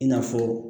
I n'a fɔ